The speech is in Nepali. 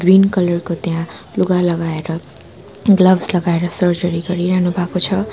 ग्रिन कलर को त्यहाँ लुगा लगाएर ग्लब्स लगाएर सर्जरी गरिरहनु भाको छ।